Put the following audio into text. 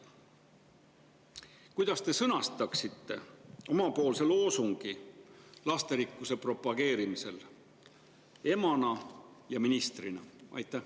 Kuidas te sõnastaksite oma loosungi lasterikkuse propageerimisel emana ja ministrina?